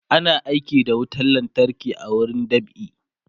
ana aiki da wutan lantarki a wurin dab'i